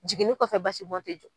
Jiginin kɔfɛ basi bɔ tɛ jɔ.